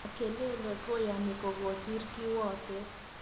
Makelele koyani kokosiir kiwotet.